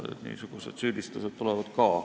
Niisugused süüdistused tulevad ka.